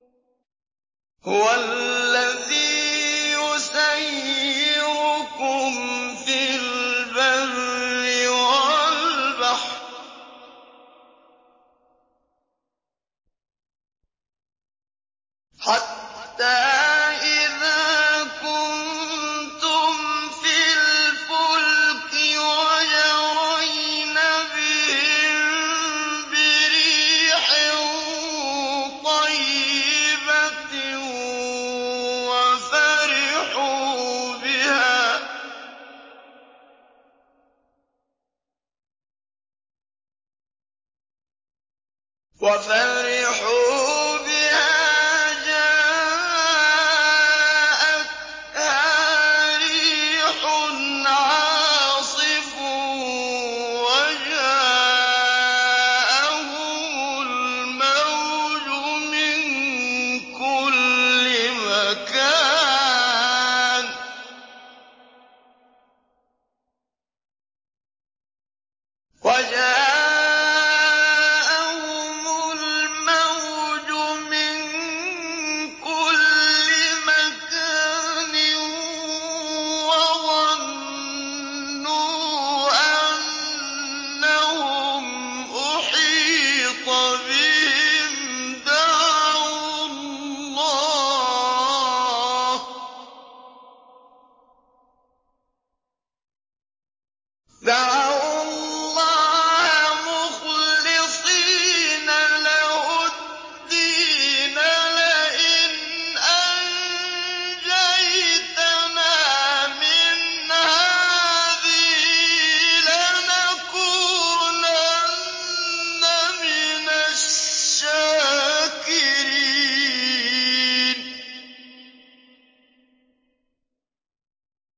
هُوَ الَّذِي يُسَيِّرُكُمْ فِي الْبَرِّ وَالْبَحْرِ ۖ حَتَّىٰ إِذَا كُنتُمْ فِي الْفُلْكِ وَجَرَيْنَ بِهِم بِرِيحٍ طَيِّبَةٍ وَفَرِحُوا بِهَا جَاءَتْهَا رِيحٌ عَاصِفٌ وَجَاءَهُمُ الْمَوْجُ مِن كُلِّ مَكَانٍ وَظَنُّوا أَنَّهُمْ أُحِيطَ بِهِمْ ۙ دَعَوُا اللَّهَ مُخْلِصِينَ لَهُ الدِّينَ لَئِنْ أَنجَيْتَنَا مِنْ هَٰذِهِ لَنَكُونَنَّ مِنَ الشَّاكِرِينَ